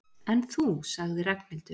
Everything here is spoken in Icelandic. En þú sagði Ragnhildur.